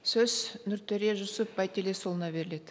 сөз нұртөре жүсуп байтілесұлына беріледі